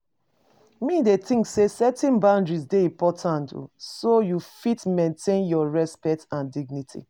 Me, dey think say setting boundaries dey important, so you fit maintain your respect and dignity.